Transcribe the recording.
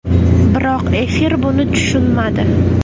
Biroq, efir buni tushunmadi”.